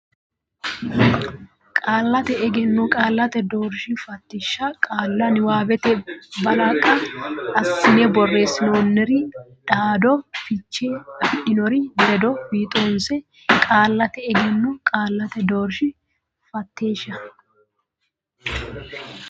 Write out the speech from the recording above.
Qaallate Egenno Qaallate Doorshi Fatilsha qaalla niwaawete balaqa assine borreessinoonniri dhaaddo fiche afidhinori ledo fiixoonse Qaallate Egenno Qaallate Doorshi Fatilsha.